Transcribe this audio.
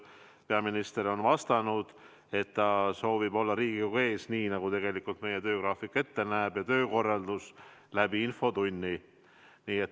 Peaminister on vastanud, et ta soovib olla Riigikogu ees, nii nagu meie töökorraldus ka ette näeb, infotunnis.